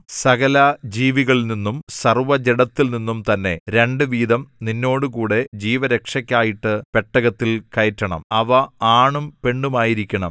സകല ജീവികളിൽനിന്നും സർവ്വജഡത്തിൽനിന്നും തന്നെ രണ്ട് വീതം നിന്നോടുകൂടെ ജീവരക്ഷയ്ക്കായിട്ട് പെട്ടകത്തിൽ കയറ്റണം അവ ആണും പെണ്ണുമായിരിക്കണം